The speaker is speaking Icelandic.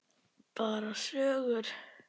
Bara sögur.